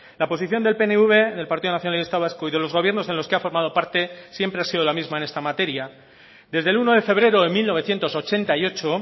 la posición del pnv del partido nacionalista vasco y de los gobiernos en los que ha formado parte siempre ha sido la misma en esta materia desde el uno de febrero de mil novecientos ochenta y ocho